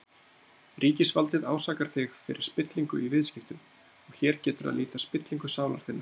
Ríkisvaldið ásakar þig fyrir spillingu í viðskiptum, og hér getur að líta spillingu sálar þinnar.